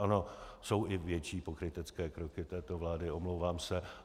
Ano, jsou i větší pokrytecké kroky této vlády, omlouvám se.